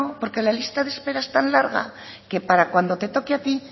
porque la lista de espera es tan larga que para cuando te toque a ti